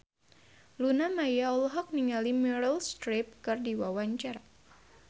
Luna Maya olohok ningali Meryl Streep keur diwawancara